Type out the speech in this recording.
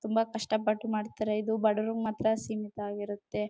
ತುಂಬಾ ಕಷ್ಟ ಪಟ್ಟು ಮಾಡ್ತಾರೆ ಇದು ಬಡವರಿಗೆ ಮಾತ್ರ ಸೀಮಿತ ಆಗಿರುತ್ತೆ.